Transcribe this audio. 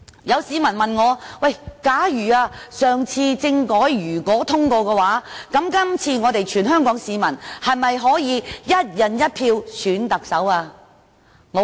有市民問我："假如上次政改獲通過的話，這次全港市民是否可以'一人一票'選特首呢？